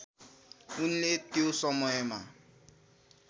उनले त्यो समयमा